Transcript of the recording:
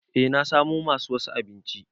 E na samo masu wasu abinci.